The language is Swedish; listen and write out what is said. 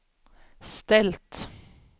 ställt